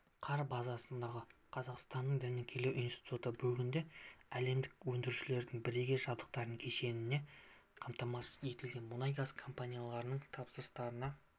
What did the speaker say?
қар базасындағы қазақстанның дәнекерлеу институты бүгінде әлемдік өндірушілердің бірегей жабдықтар кешенімен қамтамасыз етілген мұнай-газ компанияларының тапсырыстарына